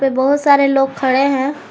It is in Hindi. बहुत सारे लोग खड़े हैं।